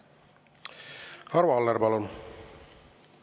Arvo Aller, palun!